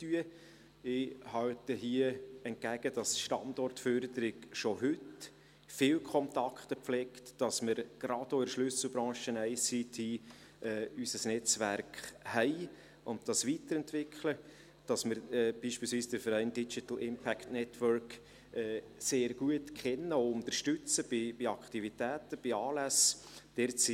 Ich halte hier entgegen, dass die Standortförderung schon heute viele Kontakte pflegt, dass wir gerade auch in der Schlüsselbranche ICT unser Netzwerk haben und das weiterentwickeln, dass wir beispielsweise den Verein «Digital Impact Network» sehr gut kennen und bei Aktivitäten, bei Anlässen unterstützen.